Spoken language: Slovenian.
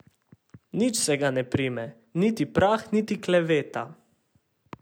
Nič se ga ne prime, niti prah niti kleveta.